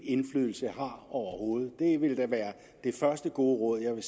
indflydelse har overhovedet det ville da være det første gode råd jeg vil